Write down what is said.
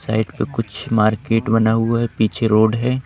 Side पे कुछ market बना हुआ है पीछे रोड है।